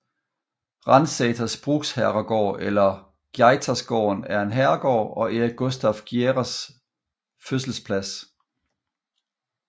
Ransäters bruksherrgård eller Geijersgården er en herregård og Erik Gustaf Geijers fødselsplads